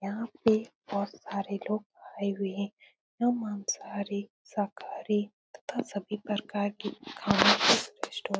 यहाँ पर बहुत सारे लोग आए हुए हैं जो मांसाहारी शाकाहारी तथा सभी प्रकार के स्टोर --